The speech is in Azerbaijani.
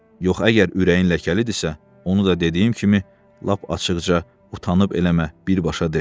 Yox əgər ürəyin ləkəlidirsə, onu da dediyim kimi, lap açıqca utanıb eləmə, birbaşa de.